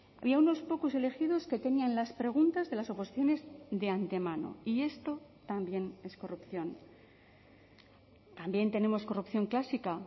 había unos pocos elegidos que tenían las preguntas de las oposiciones de antemano y esto también es corrupción también tenemos corrupción clásica